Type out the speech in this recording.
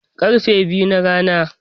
Karfe biyu na rana